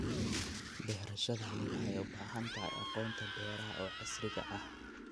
Beerashadani waxay u baahan tahay aqoonta beeraha ee casriga ah.